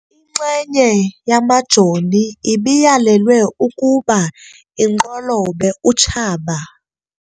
Inxenye yamajoni ibiyalelwe ukuba inqolobe utshaba.